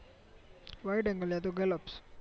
વાઈટે એન્ગલે ય તો ગલ્લોપ્સ